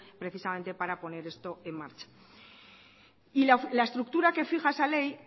precisamente para poner esto en marcha y la estructura que fija esa ley